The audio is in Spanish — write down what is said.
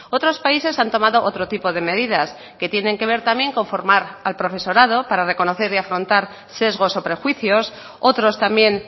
otros países han tomado otro tipo de medidas que tienen que ver también con formar al profesorado para reconocer y afrontar sesgos o prejuicios otros también